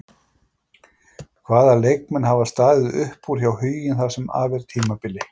Hvaða leikmenn hafa staðið upp úr hjá Huginn það sem af er tímabili?